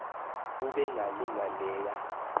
ube ngalinga leya